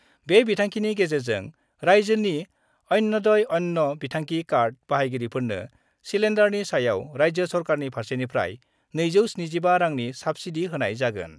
बे बिथांखिनि गेजेरजों राइज्योनि अन्त्यदय अन्न बिथांखि कार्ड बाहायगिरिफोरनो सिलेन्डारनि सायाव राइज्यो सरकारनि फारसेनिफ्राय 275 रांनि साब्सिडि होनाय जागोन।